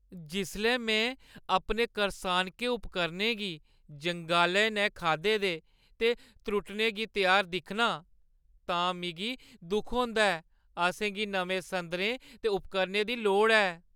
जिसलै में अपने करसानके उपकरणें गी जंगाले नै खाद्धे दे ते त्रुट्टने गी त्यार दिक्खनां तां मिगी दुख होंदा ऐ। असें गी नमें संदरें ते उपकरणें दी लोड़ ऐ।